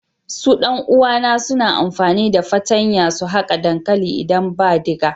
Su dan uwa na suna amfani da fatanya su haka dankali idan ba diga.